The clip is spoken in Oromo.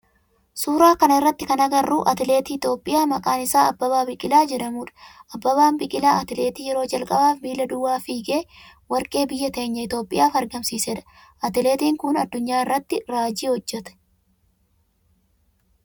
Suuraa kana irratti kan agarru atileetii Itiyoophiyaa maqaan isaa Abbabaa Biqilaa jedhamudha. Abbabaa Biqilaa atileetii yeroo jalqabaaf miila duwwaa fiigee warqee biyya teenya Itiyoophiyaaf argamsiisedha. Atileetiin kun addunyaa irratti raajii hojjete.